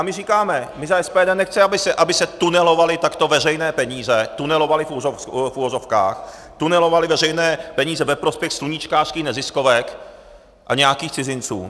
A my říkáme, my za SPD nechceme, aby se tunelovaly takto veřejné peníze, tunelovaly v uvozovkách, tunelovaly veřejné peníze ve prospěch sluníčkářských neziskovek a nějakých cizinců.